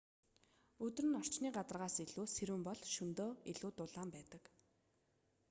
өдөр нь орчны гадаргаас илүү сэрүүн бол шөнөдөө илүү дулаан байдаг